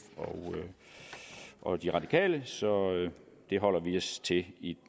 og de radikale så det holder vi os til i